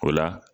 O la